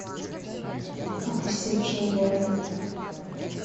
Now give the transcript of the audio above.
опустевший город